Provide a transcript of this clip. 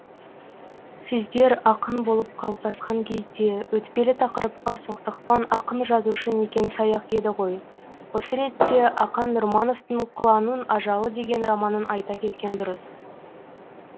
сіздер ақын болып қалыптасқан кезде өтпелі тақырыпқа соқтықпан ақын жазушы некен саяқ еді ғой осы ретте ақан нұрмановтың құланның ажалы деген романын айта кеткен дұрыс